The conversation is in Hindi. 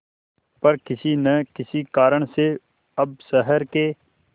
पर किसी न किसी कारण से अब शहर के